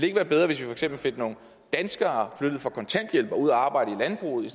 ikke være bedre hvis vi for eksempel fik nogle danskere flyttet fra kontanthjælp og ud at arbejde i landbruget i